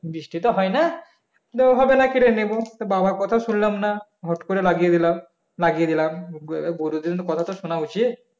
বৃষ্টি তো হয় না . বাবার কথা শুনলাম না হট করে লাগিয়ে দিলাম লাগিয়ে দিলাম বড়োদের কথা তো শোনা উচিত